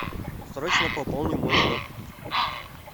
срочно пополни мой счет